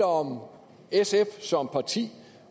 om sf som parti